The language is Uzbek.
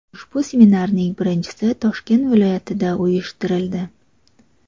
Ushbu seminarning birinchisi Toshkent viloyatida uyushtirildi.